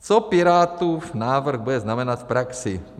Co Pirátů návrh bude znamenat v praxi?